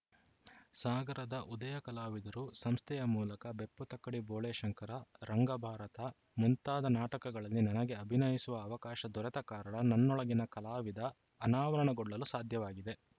ಸಾಗರದ ಉದಯಕಲಾವಿದರು ಸಂಸ್ಥೆಯ ಮೂಲಕ ಬೆಪ್ಪುತಕ್ಕಡಿ ಬೋಳೇಶಂಕರ ರಂಗಭಾರತ ಮುಂತಾದ ನಾಟಕಗಳಲ್ಲಿ ನನಗೆ ಅಭಿನಯಿಸುವ ಅವಕಾಶ ದೊರೆತ ಕಾರಣ ನನ್ನೊಳಗಿನ ಕಲಾವಿದ ಅನಾವರಣಗೊಳ್ಳಲು ಸಾಧ್ಯವಾಗಿದೆ